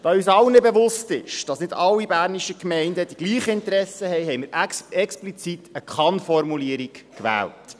Da uns allen bewusst ist, dass nicht alle bernischen Gemeinden dieselben Interessen haben, haben wir explizit eine Kann-Formulierung gewählt.